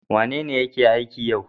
Wanene yake aiki yau?